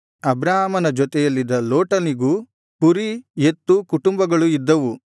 ಅಬ್ರಾಮನ ಜೊತೆಯಲ್ಲಿದ್ದ ಲೋಟನಿಗೂ ಕುರಿ ಎತ್ತು ಕುಟುಂಬಗಳು ಇದ್ದವು